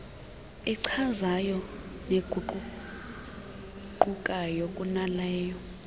echazayo neguquguqukayo kunaleyo